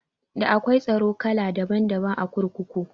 Da akwai tsaro kala daban daban a kurkuku